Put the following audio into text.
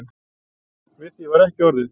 Við því var ekki orðið.